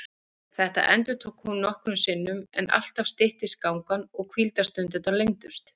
Þetta endurtók hún nokkrum sinnum en alltaf styttist gangan og hvíldarstundirnar lengdust.